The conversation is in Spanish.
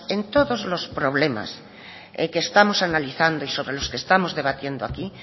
en todos los problemas que estamos analizando y sobre los que estamos debatiendo aquí